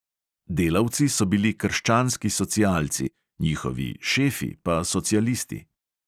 Delavci so bili krščanski socialci, njihovi "šefi" pa socialisti.